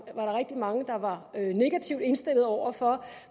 der rigtig mange der var negativt indstillet over for